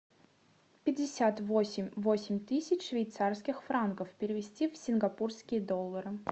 пятьдесят восемь восемь тысяч швейцарских франков перевести в сингапурские доллары